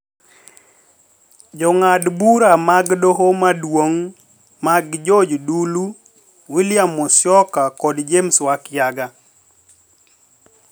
Jong'ad bura mag Doho Maduong' mag George Dulu, William Musyoka kod James Wakiaga